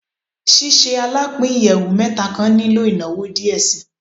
Ṣiṣe alapin iyẹwu mẹta kan nilo inawo diẹ sii